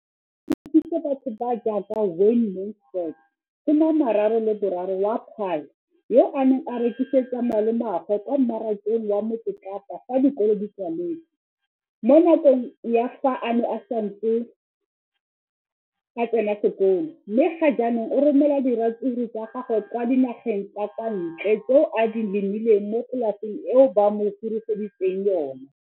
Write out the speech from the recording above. Leno le thusitse batho ba ba jaaka Wayne Mansfield, 33, wa kwa Paarl, yo a neng a rekisetsa malomagwe kwa Marakeng wa Motsekapa fa dikolo di tswaletse, mo nakong ya fa a ne a santse a tsena sekolo, mme ga jaanong o romela diratsuru tsa gagwe kwa dinageng tsa kwa ntle tseo a di lemileng mo polaseng eo ba mo hiriseditseng yona.